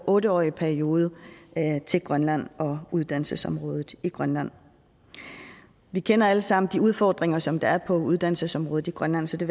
otte årig periode til grønland og uddannelsesområdet i grønland vi kender alle sammen de udfordringer som der er på uddannelsesområdet i grønland så det